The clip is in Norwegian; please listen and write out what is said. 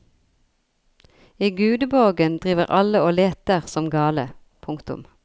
I gudeborgen driver alle og leter som gale. punktum